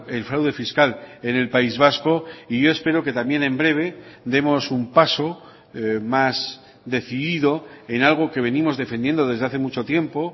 el fraude fiscal en el país vasco y yo espero que también en breve demos un paso más decidido en algo que venimos defendiendo desde hace mucho tiempo